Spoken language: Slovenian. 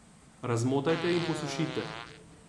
Razmotajte in posušite.